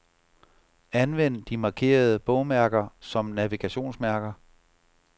Anvend de markerede bogmærker som navigationsmærker.